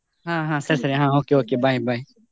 ಹಾ ಹಾ ಸರಿ okay okay bye bye .